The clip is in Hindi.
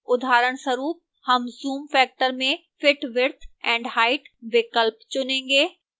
उदाहरणस्वरूप हम zoom factor में fit width and height विकल्प चुनेंगे